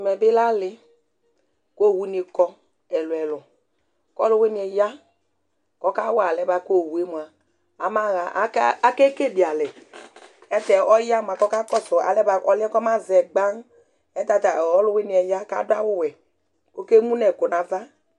ɛmɛ bi lɛ ali kʋ ɔwʋ ni kɔ ɛlʋɛlʋ kʋ ɔlʋwiniɛ ya kʋ ɔka wa ɛlɛnɛ bʋakʋ ɔwʋɛ mʋa ama ha, aka akɛkɛlɛ alɛ ɛtɛ ɔya mʋa kʋ ɔka kɔsʋ ɔlɛnɛ bʋakʋ ɔma zɛ gbaa, ɛtɛ ɔlʋwiniɛ ya kʋ adʋ awʋ wɛ kʋ ɔkɛ mʋnʋ ɛkʋ nʋ aɣa